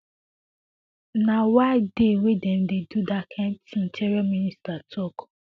no wia dey wey dem dey do dat kain tin interior minister tok